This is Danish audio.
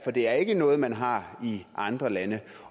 det er ikke noget man har i andre lande